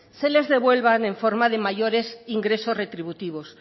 se les devuelvan en forma de mayores ingresos retributivos